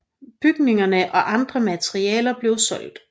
Bygningerne og andre materialer blev solgt